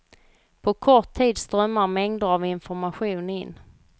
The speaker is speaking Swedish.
På kort tid strömmar mängder av information in.